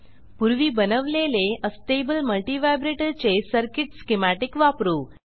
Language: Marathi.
पूर्वी बनवलेले अस्टेबल मल्टिव्हायब्रेटर चे सर्किट स्कीमॅटिक वापरू